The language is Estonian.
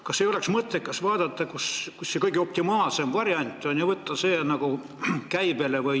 Kas ei oleks mõttekas analüüsida, missugune on optimaalne variant, ja võtta see kasutusele?